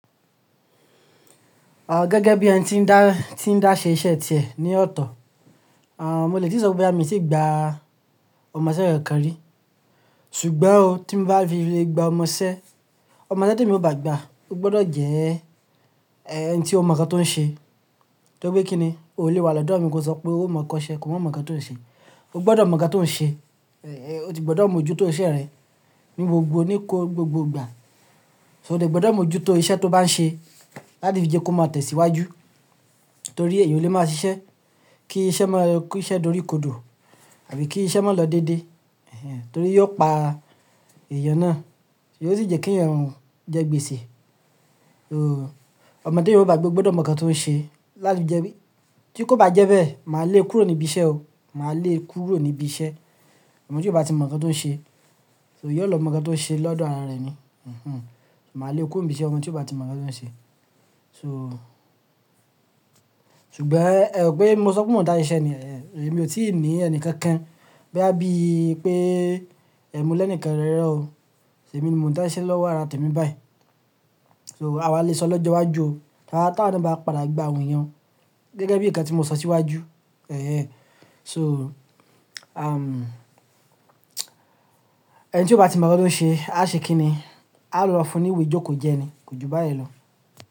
Ọ gẹ́gẹ́ bí ẹni tí ń dá, tí ń dá ṣe iṣẹ́ tìẹ ní ọ̀tọ̀, a, mo lè tì sọ pé mi ò tí gba ọmọṣẹ́ rẹ̀ kan rí. Ṣùgbọ́n o tí mo bá fi lè gba ọmọṣẹ́, ọmọṣẹ́ tí mo bá gba, ó gbọ́dọ̀ jẹ ẹ́ ẹni tí ó mọ̀ nǹkan tó ń ṣe. Tí ó gbé kí ni, o ò lè wà lọ́dọ̀ ẹ̀mí tí ó sọ pé ó mọ̀ ọ́n ṣe kò mọ̀ nǹkan tó ń ṣe. Ó gbọ́dọ̀ mọ̀ nǹkan tó ń ṣe, o ti gbọ́dọ̀ mọ̀ ojútòó iṣẹ́ rẹ̀ ní gbogbo níko gbogbo ìgbà. So o lè gbọ́dọ̀ mọ̀ ojútòó iṣẹ́ tó bá ń ṣe láti fi jẹ́ kó má tẹ̀síwájú. Torí èèyàn ò lè máa ṣiṣẹ́ kí iṣẹ́ máa kí iṣẹ́ dùn orí kodò àbí kí iṣẹ́ má lọ dédé. Torí yóò pa èèyàn náà. Yóò sì jẹ́ kí èèyàn jẹ́ gbèsè. Oh, ọmọdé tí mo bá gba gbọ́dọ̀ mọ̀ nǹkan tó ń ṣe láti jẹ́ pé tí kò bá jẹ́ bẹ́ẹ̀, màá le kúrò níbí iṣẹ́ o. Màá le kúrò níbí iṣẹ́. Ọmọ tí ò bá ti mọ̀ nǹkan tó ń ṣe. So yóò lọ mọ̀ nǹkan tó ń ṣe lọ́dọ̀ ara rẹ̀ ni. Mhm. Màá le kúrò níbí iṣẹ́ ọmọ tí ò bá ti mọ̀ nǹkan tó ń ṣe. So, ṣùgbọ́n ẹ ò pé mo sọ pé mò ń dá iṣẹ́ ni, èmi ò tí ì ní ẹni kankan. Bí a bí i pé ẹ̀mú lẹ́ẹ̀ni kẹrẹrẹ o. Ṣe mi ni mò ń dá iṣẹ́ lọ́wọ́ ara tèmi báyìí. So àwa lè sọ lọ́jọ́ iwájú o. Tára táa ni bá padà gba awon eyan o Gẹ́gẹ́ bí ǹkan tí mo sọ síwájú. Ẹ̀hẹn. So, a, ẹni tí ò bá ti mọ̀ nǹkan tó ń ṣe, a ṣe kí ni? A lọ fún un ìwé jóko jẹ ni. Kò ju bá yẹn lọ.